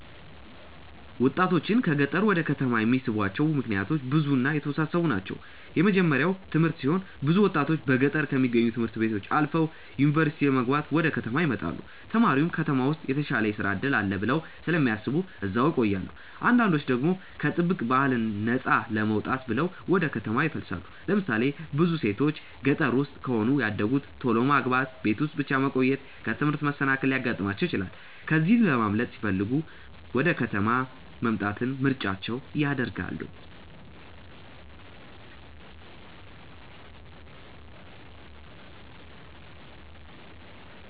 ወጣቶችን ከገጠር ወደ ከተማ የሚስቧቸው ምክንያቶች ብዙ እና የተወሳሰቡ ናቸው። የመጀመርያው ትምህርት ሲሆን ብዙ ወጣቶች በገጠር ከሚገኙ ት/ቤቶች አልፈው ዩኒቨርሲቲ ለመግባት ወደ ከተማ ይመጣሉ። ተምረውም ከተማ ውስጥ የተሻለ የስራ እድል አለ ብለው ስለሚያስቡ እዛው ይቆያሉ። አንዳንዶች ደግሞ ከጥብቅ ባህል ነፃ ለመውጣት ብለው ወደ ከተማ ይፈልሳሉ። ለምሳሌ ብዙ ሴቶች ገጠር ውስጥ ከሆነ ያደጉት ቶሎ ማግባት፣ ቤት ውስጥ ብቻ መቆየት፣ ከትምህርት መሰናከል ሊያጋጥማቸው ይችላል። ከዚህ ለማምለጥ ሲለሚፈልጉ ወደ ከተማ መምጣትን ምርጫቸው ያደርጋሉ።